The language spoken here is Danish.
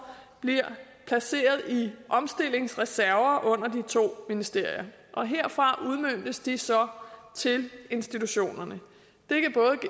bliver placeret i omstillingsreserver under de to ministerier og herfra udmøntes de så til institutionerne